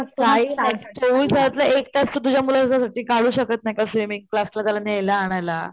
काही नाही चोविसातला एक तास तू तुझ्या मुलाला मुलासाठी काढू शकत नाही का स्वीमिन्ग क्लास ला न्यायला आणायला.